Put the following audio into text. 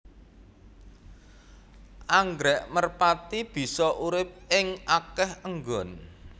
Anggrèk merpati bisa urip ing akéh nggon